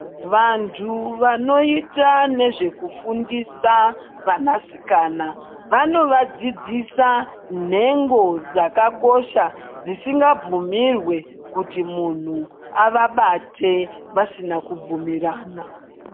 Vantu vanoita nezvekufundisa vana sikana vanovadzidzisa nhengo dzakakosha dzisingabvumirwi kuti munhu avabatebvasina kubvumurana.